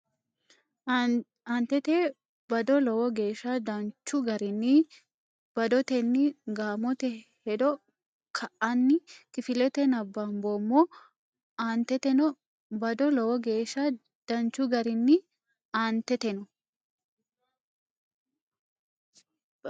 Aanteteno bado Lowo geeshsha danchu garinni badotenni gaamote hedo ka ine kifilete nabbamboommo Aanteteno bado Lowo geeshsha danchu garinni Aanteteno.